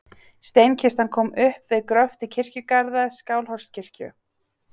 Steinkistan kom upp við gröft í kirkjugarði Skálholtskirkju.